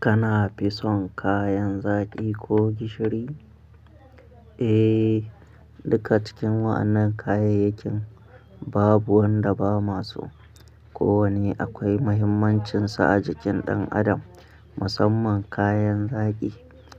Kana fi son kayan zaki ko gishiri? Eh, duka cikin wannan kayayyakin babu wanda ba masu. Ko wane akwai muhimmancinsa a jikin ɗan adam. Musamman kayan zaki,